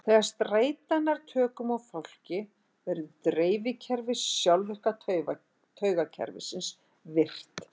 Þegar streita nær tökum á fólki verður drifkerfi sjálfvirka taugakerfisins virkt.